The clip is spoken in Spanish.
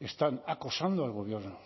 están acosando al gobierno